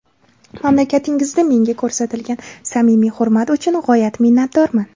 Mamlakatingizda menga ko‘rsatilgan samimiy hurmat uchun g‘oyat minnatdorman.